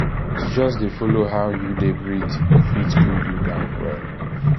to just um dey follow how um you dey breathe fit um cool you down well.